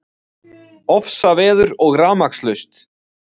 Ofsaveður og rafmagnslaust